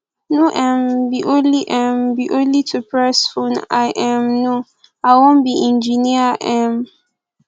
no um be only um be only to press phone i um no i wan be engineer um